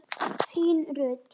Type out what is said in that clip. Þín Rut.